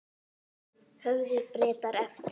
Höfðu Bretar eftir